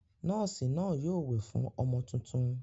Nọ́ọ́sì náà yóò wẹ̀ fún ọmọ tuntun.